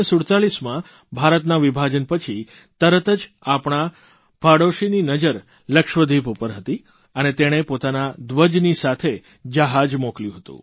1947માં ભારતના વિભાજન પછી તરત જ આપણા પાડોશીની નજર લક્ષદ્વીપ ઉપર હતી અને તેણે પોતાના ધ્વજની સાથે જહાજ મોકલ્યું હતું